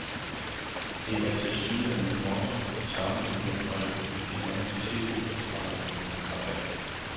Det er tilsyneladende det motto, det samme igen og igen, de danske tv-tilrettelæggere har valgt.